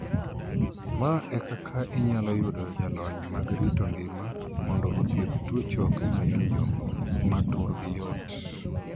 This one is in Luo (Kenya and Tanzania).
Ma e kaka inyalo yudo jalony mag rito ngima mondo othiedh tuo choke mayomyom ma turgi yot.